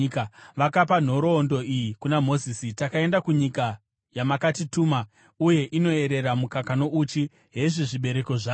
Vakapa nhoroondo iyi kuna Mozisi: “Takaenda kunyika yamakatituma, uye inoerera mukaka nouchi! Hezvi zvibereko zvayo.